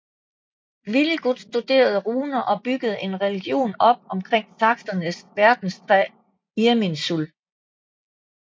Wiligut studerede runer og byggede en religion op omkring saksernes verdenstræ Irminsul